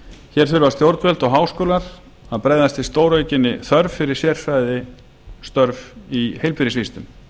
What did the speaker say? hér þurfa stjórnvöld og háskólar að bregðast við stóraukinni þörf fyrir sérfræðistörf í heilbrigðisvísindum